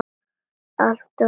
Alltof seinn fyrir.